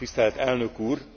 Tisztelt elnök úr,